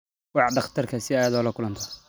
Wac dhakhtarka si aad ula kulanto